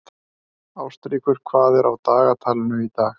Ástríkur, hvað er á dagatalinu í dag?